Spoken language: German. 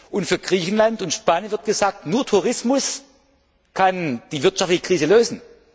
Und für Griechenland und Spanien wird gesagt, nur Tourismus kann die wirtschaftliche Krise lösen.